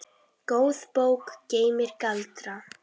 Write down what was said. Góð bók geymir galdra.